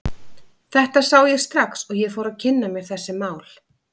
Þetta sá ég strax og ég fór að kynna mér þessi mál.